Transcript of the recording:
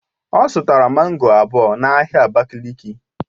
Ọ zụtara mango abụọ n'ahịa abakiliki